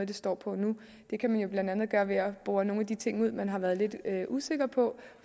det står på nu det kan man jo blandt andet gøre ved at bore i nogle af de ting man har været lidt usikker på og